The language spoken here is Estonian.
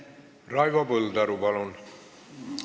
Raivo Põldaru, palun!